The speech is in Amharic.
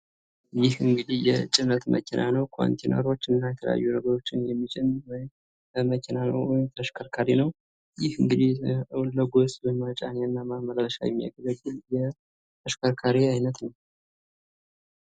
ይህ እንግዲህ የጭነት መኪና ነው። ኮንቲነሮችና እና የተለያዩ ነገሮችንየሚጭን ወይም መኪና ነው ወይም ተሽከርካሪ ነው ።ይህ እንግዲህ ለጓዝ መጫኛ እና ማመላለሻ የሚያገለግል የተሽከርካሪ አይነት ነው።